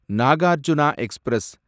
Nagarjuna express